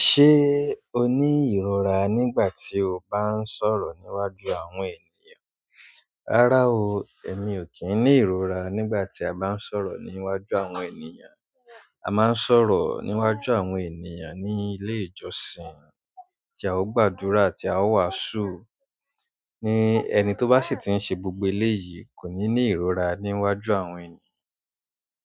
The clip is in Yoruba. Ṣé o ní ìrora nígbà tí o bá ń sọ̀rọ̀ níwájú àwọn ènìyàn? Rárá o, èmi ò kí ń ní ìrora nígbà tí a bá ń sọ̀rọ̀ níwájú àwọn ènìyàn. A máa ń sọ̀rọ̀ níwájú àwọn ènìyàn ní ilé ìjọsìn tí a ó gbàdúrà àti a ó wàásù ni ẹni tó bá sì ti ń ṣe gbogbo eléyìí kò ní ní ìrora níwájú àwọn ènìyàn.